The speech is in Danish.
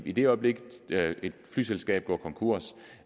i det øjeblik et flyselskab går konkurs